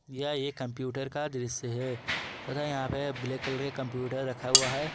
यह कंप्यूटर का दृश्य है ब्लैक कलर के कंप्यूटर रखा हुआ है।